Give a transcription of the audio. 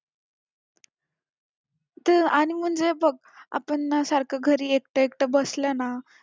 आणि म्हणजे बघ आपण ना सारखं घरी एकटं एकटं बसलं ना